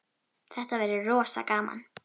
Þetta verður rosa gaman.